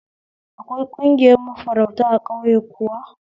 Akwai ƙungiyar mafarauta a ƙauye kuwa?